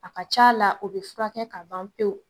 A ka ca a la o bɛ furakɛ ka ban pewu